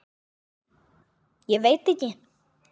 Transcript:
Ég veit ekki?